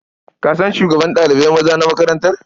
Ka san shugaban ɗalibai maza na makarantar?